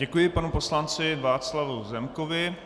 Děkuji panu poslanci Václavu Zemkovi.